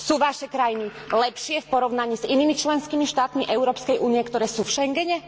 Sú vaše krajiny lepšie v porovnaní s inými členskými štátmi Európskej únie, ktoré sú v Schengene?